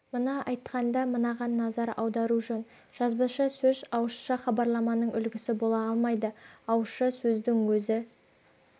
мұны айтқанда мынаған назар аудару жөн жазбаша сөз ауызша хабарламаның үлгісі бола алмайды ауызша сөздің өз